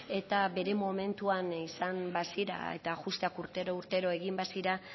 eta bere momentuan izan bazira eta ajusteak urtero urtero egin bazira